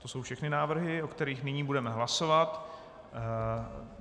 To jsou všechny návrhy, o kterých nyní budeme hlasovat.